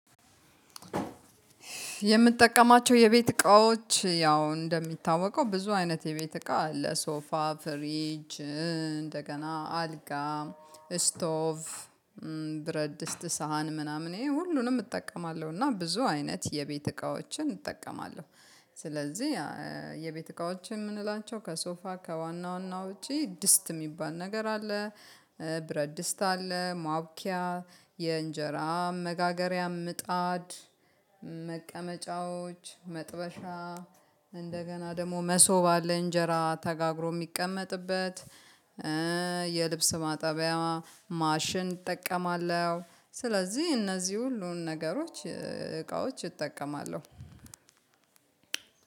የምጠቀማቸው የቤት እቃዎች ያው እንደሚታወቀው ብዙ አይነት የቤት እቃ አለ ሶፋ ፍሪጅ እንደገና አልጋ ስቶቭ ብረድስት እስት ሳህን ምናምን ይሄ ሁሉንም እጠቀማለሁ እና ብዙ አይነት የቤት እቃዎችን እጠቀማለሁ። ስለዚህ የቤት እቃዎች የምንላቸው ከሶፋ ከዋና ዋና ውጪ ድስት የሚባል ነገር አለ። ብረድስት አለ ማቡኪያ የእንጀራ መጋገሪያ ምጣድ መቀመጫዎች መጥበሻ እንደገና ደግሞ መሶብ አለ። እንጀራ ተጋግሮ የሚቀመጥበት የልብስ ማጠቢያ ማሽን እጠቀማለሁ። ስለዚህ እነዚህ ሁሉን ነገሮች እቃዎች እጠቀማለሁ።